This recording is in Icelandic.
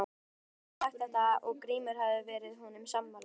Hann hafði sagt þetta og Grímur hafði verið honum sammála.